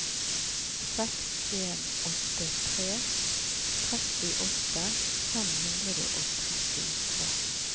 seks en åtte tre trettiåtte fem hundre og trettitre